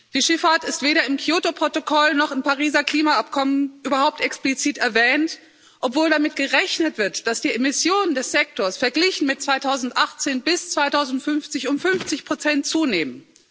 Die Schifffahrt ist weder im Kyoto Protokoll noch im Pariser Klimaabkommen überhaupt explizit erwähnt, obwohl damit gerechnet wird, dass die Emissionen des Sektors verglichen mit 2018 bis 2050 um fünfzig Prozent zunehmen.